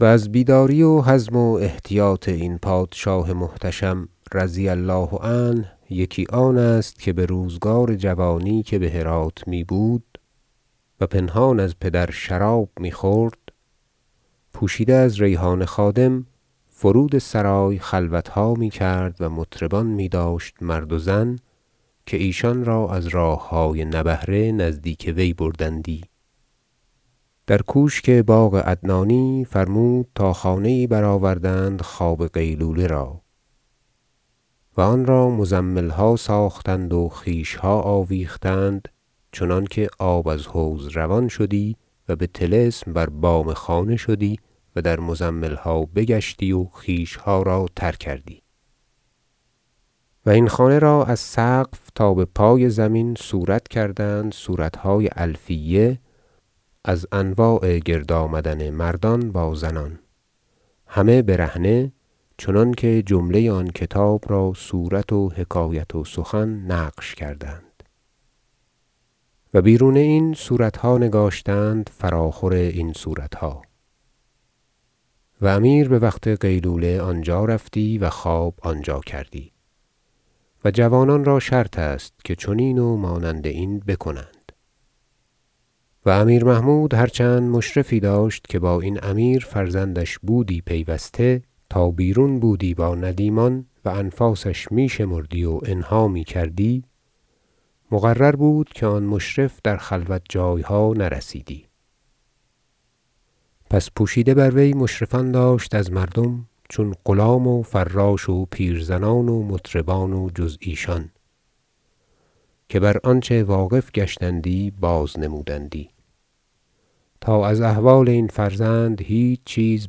و از بیداری و حزم و احتیاط این پادشاه محتشم -رضی الله عنه- یکی آن است که به روزگار جوانی که به هرات میبود و پنهان از پدر شراب میخورد پوشیده از ریحان خادم فرود سرای خلوتها میکرد و مطربان میداشت مرد و زن که ایشان را از راههای نبهره نزدیک وی بردندی در کوشک باغ عدنانی فرمود تا خانه یی برآوردند خواب قیلوله را و آن را مزملها ساختند و خیشها آویختند چنانکه آب از حوض روان شدی و به طلسم بر بام خانه شدی و در مزملها بگشتی و خیشها را تر کردی و این خانه را از سقف تا به پای زمین صورت کردند صورتهای الفیه از انواع گرد آمدن مردان با زنان همه برهنه چنانکه جمله آن کتاب را صورت و حکایت و سخن نقش کردند و بیرون این صورتها نگاشتند فراخور این صورتها و امیر به وقت قیلوله آنجا رفتی و خواب آنجا کردی و جوانان را شرط است که چنین و مانند این بکنند و امیر محمود هرچند مشرفی داشت که با این امیر فرزندش بودی پیوسته تا بیرون بودی با ندیمان و انفاسش می شمردی و انها میکردی مقرر بود که آن مشرف در خلوت جایها نرسیدی پس پوشیده بر وی مشرفان داشت از مردم چون غلام و فراش و پیرزنان و مطربان و جز ایشان که بر آنچه واقف گشتندی بازنمودندی تا از احوال این فرزند هیچ چیز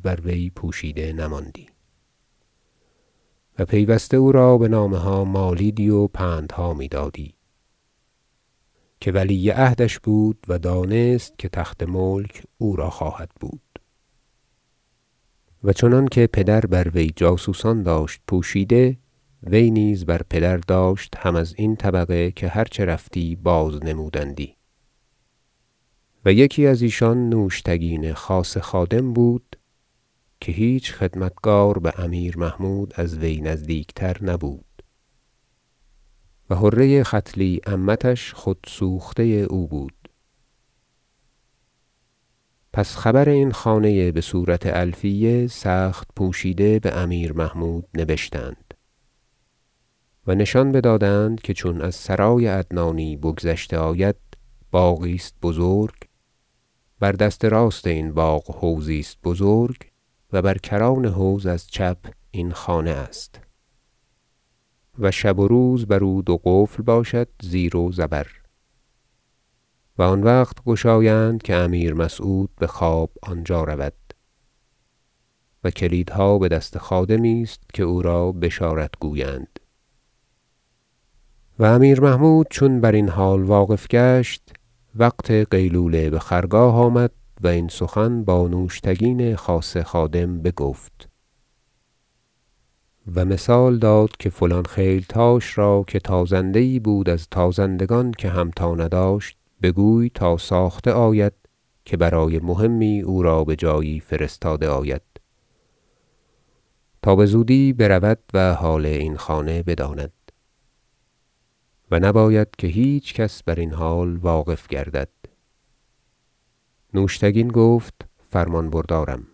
بر وی پوشیده نماندی و پیوسته او را به نامه ها مالیدی و پندها میدادی که ولی عهدش بود و دانست که تخت ملک او را خواهدبود و چنانکه پدر وی بر وی جاسوسان داشت پوشیده وی نیز بر پدر داشت هم ازین طبقه که هر چه رفتی بازنمودندی و یکی از ایشان نوشتگین خاصه خادم بود که هیچ خدمتگار به امیر محمود از وی نزدیکتر نبود و حره ختلی عمتش خود سوخته او بود پس خبر این خانه به صورت الفیه سخت پوشیده به امیر محمود نبشتند و نشان بدادند که چون از سرای عدنانی بگذشته آید باغی است بزرگ بر دست راست این باغ حوضی است بزرگ و بر کران حوض از چپ این خانه است و شب و روز بر او دو قفل باشد زیر و زبر و آن وقت گشایند که امیر مسعود به خواب آنجا رود و کلیدها به دست خادمی است که او را بشارت گویند و امیر محمود چون بر این حال واقف گشت وقت قیلوله به خرگاه آمد و این سخن با نوشتگین خاصه خادم بگفت و مثال داد که فلان خیلتاش را -که تازنده یی بود از تازندگان که همتا نداشت- بگوی تا ساخته آید که برای مهمی او را به جایی فرستاده آید تا بزودی برود و حال این خانه بداند و نباید که هیچ کس بر این حال واقف گردد نوشتگین گفت فرمانبردارم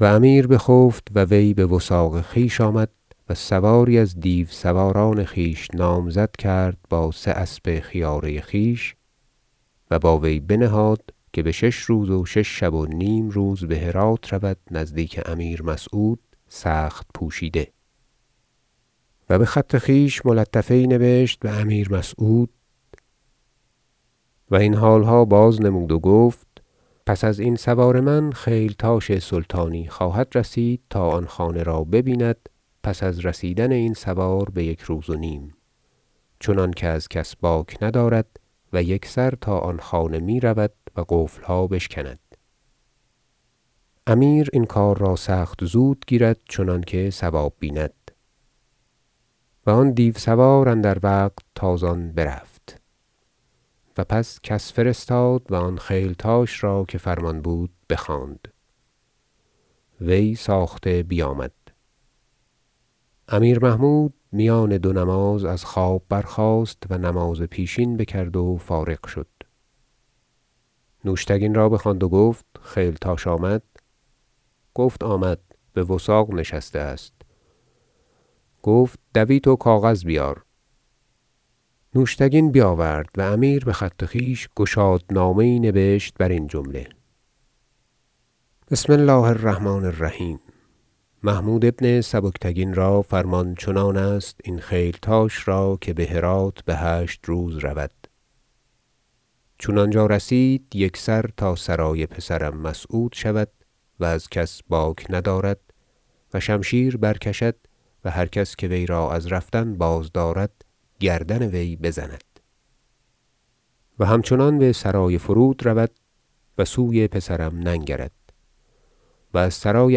و امیر بخفت و وی به وثاق خویش آمد و سواری از دیوسواران خویش نامزد کرد با سه اسب خیاره خویش و با وی بنهاد که به شش روز و شش شب و نیم روز به هرات رود نزدیک امیر مسعود سخت پوشیده و به خط خویش ملطفه یی نبشت به امیر مسعود و این حالها بازنمود و گفت پس از این سوار من خیلتاش سلطانی خواهدرسید تا آن خانه را ببیند پس از رسیدن این سوار به یک روز و نیم چنانکه از کس باک ندارد و یکسر تا آن خانه میرود و قفلها بشکند امیر این کار را سخت زود گیرد چنانکه صواب بیند و آن دیوسوار اندر وقت تازان برفت و پس کس فرستاد و آن خیلتاش را که فرمان بود بخواند وی ساخته بیامد امیر محمود میان دو نماز از خواب برخاست و نماز پیشین بکرد و فارغ شد نوشتگین را بخواند و گفت خیلتاش آمد گفت آمد به وثاق نشسته است گفت دویت و کاغذ بیار نوشتگین بیاورد و امیر به خط خویش گشادنامه یی نبشت بر این جمله بسم الله الرحمن الرحیم محمود بن سبکتگین را فرمان چنان است این خیلتاش را -که به هرات به هشت روز رود- چون آنجا رسید یکسر تا سرای پسرم مسعود شود و از کس باک ندارد و شمشیر برکشد و هر کس که وی را از رفتن بازدارد گردن وی بزند و همچنان به سرای فرودرود و سوی پسرم ننگرد و از سرای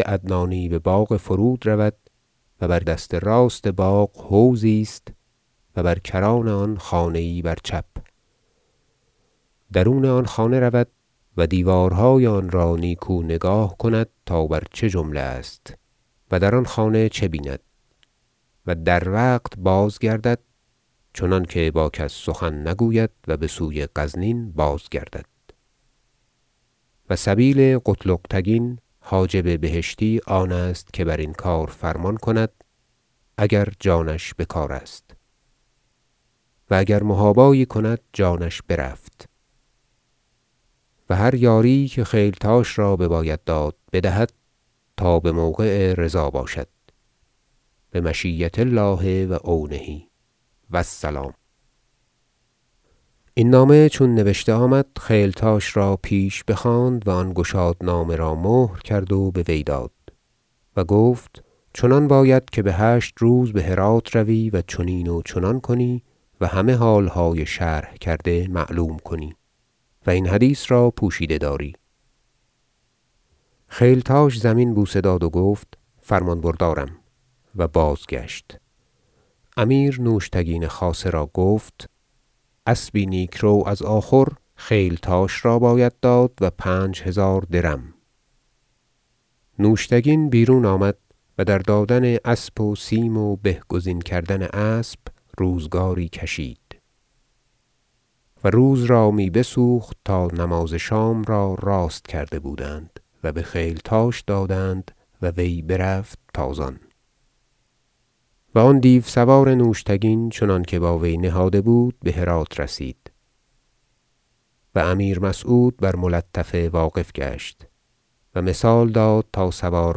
عدنانی به باغ فرود رود و بر دست راست باغ حوضی است و بر کران آن خانه یی بر چپ درون آن خانه رود و دیوارهای آن را نیکو نگاه کند تا بر چه جمله است و در آن خانه چه بیند و در وقت بازگردد چنانکه با کس سخن نگوید و به سوی غزنین بازگردد و سبیل قتلغ تگین حاجب بهشتی آن است که بر این فرمان کار کند اگر جانش بکارست و اگر محابایی کند جانش برفت و هر یاری که خیلتاش را بباید داد بدهد تا به موقع رضا باشد بمشیة الله و عونه و السلام این نامه چون نبشته آمد خیلتاش را پیش بخواند و آن گشادنامه را مهر کرد و به وی داد و گفت چنان باید که به هشت روز به هرات روی و چنین و چنان کنی و همه حالهای شرح کرده معلوم کنی و این حدیث را پوشیده داری خیلتاش زمین بوسه داد و گفت فرمان بردارم و بازگشت امیر نوشتگین خاصه را گفت اسبی نیکرو از آخور خیلتاش را باید داد و پنج هزار درم نوشتگین بیرون آمد و در دادن اسب و سیم و به گزین کردن اسب روزگاری کشید و روز را می بسوخت تا نماز شام را راست کرده بودند و به خیلتاش دادند و وی برفت تازان و آن دیوسوار نوشتگین چنانکه با وی نهاده بود به هرات رسید و امیر مسعود بر ملطفه واقف گشت و مثال داد تا سوار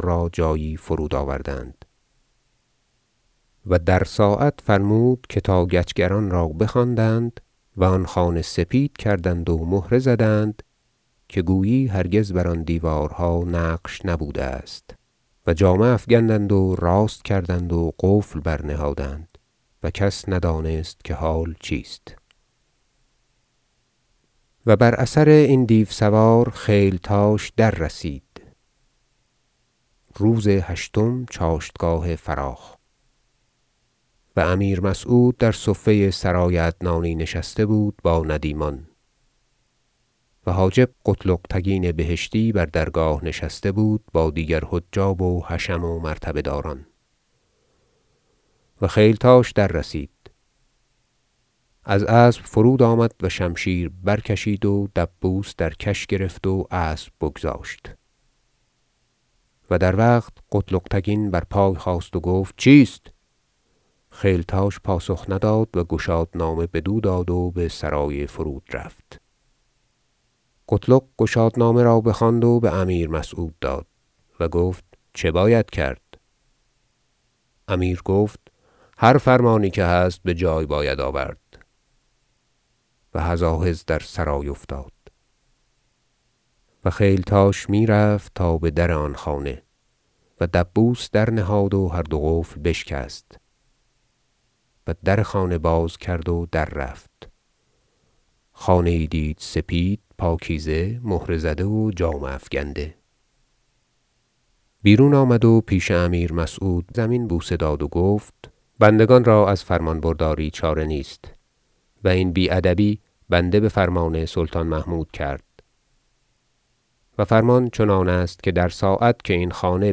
را جایی فرود آوردند و در ساعت فرمود که تا گچگران را بخواندند و آن خانه سپید کردند و مهره زدند که گویی هرگز بر آن دیوارها نقش نبوده است و جامه افکندند و راست کردند و قفل برنهادند و کس ندانست که حال چیست و بر اثر این دیوسوار خیلتاش دررسید روز هشتم چاشتگاه فراخ و امیر مسعود در صفه سرای عدنانی نشسته بود با ندیمان و حاجب قتلغ تگین بهشتی بر درگاه نشسته بود با دیگر حجاب و حشم و مرتبه داران و خیلتاش دررسید از اسب فرود آمد و شمشیر برکشید و دبوس در کش گرفت و اسب بگذاشت و در وقت قتلغ تگین بر پای خاست و گفت چیست خیلتاش پاسخ نداد و گشادنامه بدو داد و به سرای فرود رفت قتلغ تگین گشادنامه را بخواند و به امیر مسعود داد و گفت چه باید کرد امیر گفت هر فرمانی که هست به جای باید آورد و هزاهز در سرای افتاد و خیلتاش میرفت تا به در آن خانه و دبوس درنهاد و هر دو قفل بشکست و در خانه باز کرد و دررفت خانه یی دید سپید پاکیزه مهره زده و جامه افکنده بیرون آمد و پیش امیر مسعود زمین بوسه داد و گفت بندگان را از فرمان برداری چاره نیست و این بی ادبی بنده به فرمان سلطان محمود کرد و فرمان چنان است که در ساعت که این خانه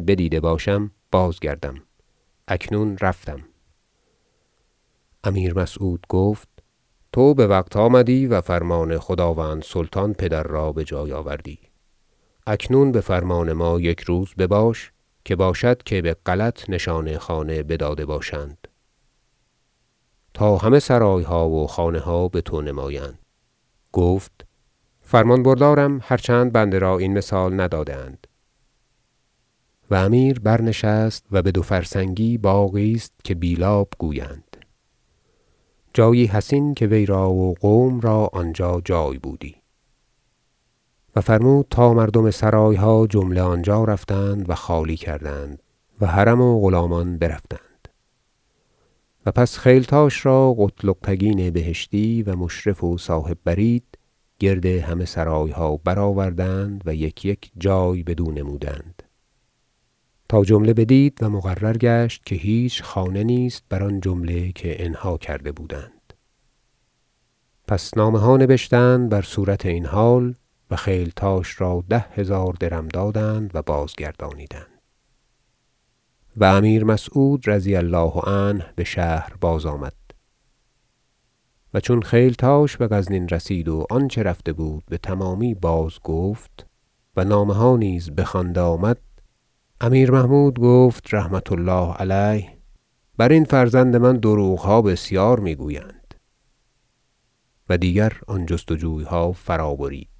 بدیده باشم بازگردم اکنون رفتم امیر مسعود گفت تو به وقت آمدی و فرمان خداوند سلطان پدر را به جای آوردی اکنون به فرمان ما یک روز بباش که باشد که به غلط نشان خانه بداده باشند تا همه سرایها و خانها به تو نمایند گفت فرمان بردارم هرچند بنده را این مثال نداده اند و امیر برنشست و به دو فرسنگی باغی است که بیلاب گویند جایی حصین که وی را و قوم را آنجا جای بودی و فرمود تا مردم سرایها جمله آنجا رفتند و خالی کردند و حرم و غلامان برفتند و پس خیلتاش را قتلغ تگین بهشتی و مشرف و صاحب برید گرد همه سرایها برآوردند و یک یک جای بدو نمودند تا جمله بدید و مقرر گشت که هیچ خانه نیست بر آن جمله که انها کرده بودند پس نامه ها نبشتند بر صورت این حال و خیلتاش را ده هزار درم دادند و بازگردانیدند و امیر مسعود -رضي الله عنه- به شهر بازآمد و چون خیلتاش به غزنین رسید و آنچه رفته بود به تمامی بازگفت و نامه ها نیز بخوانده آمد امیر محمود گفت -رحمة الله علیه- برین فرزند من دروغها بسیار میگویند و دیگر آن جست وجویها فرابرید